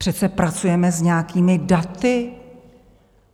Přece pracujeme s nějakými daty.